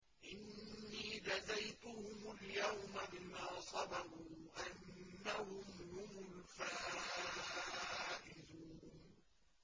إِنِّي جَزَيْتُهُمُ الْيَوْمَ بِمَا صَبَرُوا أَنَّهُمْ هُمُ الْفَائِزُونَ